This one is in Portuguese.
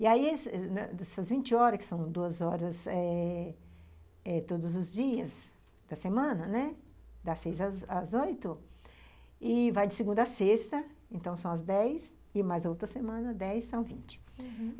E aí, essas vinte horas, que são duas horas eh eh todos os dias da semana, né, das seis às oito, e vai de segunda à sexta, então são as dez, e mais outra semana, dez são vinte, uhum.